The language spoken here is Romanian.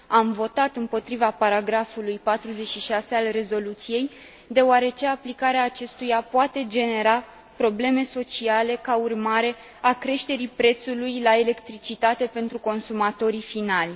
Am votat împotriva paragrafului 46 al rezoluției, deoarece aplicarea acestuia poate genera probleme sociale ca urmare a creșterii prețului la electricitate pentru consumatorii finali.